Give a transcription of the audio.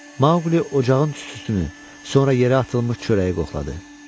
Maqli ocağın tüstüsünü, sonra yerə atılmış çörəyi qoxladı.